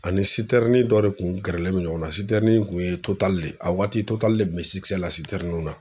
Ani dɔ de kun gɛrɛlen don ɲɔgɔn na kun ye Total le ye, a waati Total le kun be la ninw na.